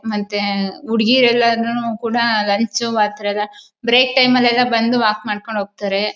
ಮತ್ತೆ ಹುಡುಗಿ ಎಲ್ಲರನ್ನೂ ಕೂಡ ಲಂಚು ಮಾಡ್ತಾರೆ ಬ್ರೇಕ್ ಟೈಮಲೆಲ್ಲಾ ಬಂದು ವಾಕ್ ಮಾಡ್ಕೊಂಡು ಹೋಗ್ತಾರೆ.